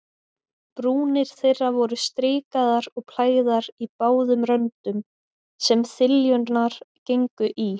Brúnir þeirra voru strikaðar og plægðar í báðum röndum, sem þiljurnar gengu í.